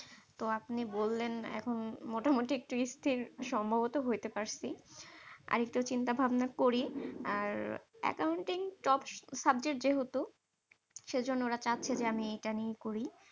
তো আপনি বললেন এখন মোটামুটি স্থির সম্ভবত হইতে পারসী। আর একটু চিন্তা ভাবনা করি। আর Accounting tops subject যেহেতু সেজন্য ওরা চাচ্ছে যে, আমি এটা নিয়ে করি।